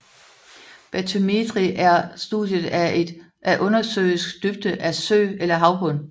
Batymetri er studiet af undersøisk dybde af sø eller havbund